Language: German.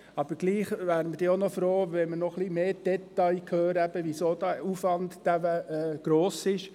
Aber wir wären trotzdem froh, wenn wir noch mehr Details hören könnten, warum der Aufwand derart gross ist.